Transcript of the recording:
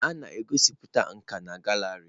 A na-egosipụta nka na gallery.